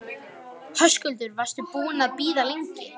Höskuldur: Varstu búinn að bíða lengi?